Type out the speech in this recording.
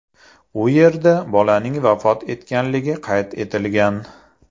U yerda bolaning vafot etganligi qayd etilgan.